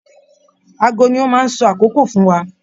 Aago ni o maá ń sọ àkókò fún wa.